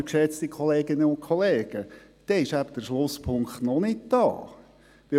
Aber, geschätzte Kolleginnen und Kollegen, damit wird der Schlusspunkt eben noch nicht erreicht sein.